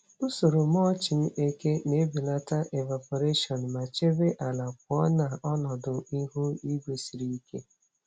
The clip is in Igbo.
Usoro mulching eke na-ebelata evaporation ma chebe ala pụọ na ọnọdụ ihu igwe siri ike.